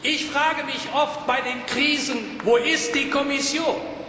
Ich frage mich oft bei den Krisen Wo ist die Kommission?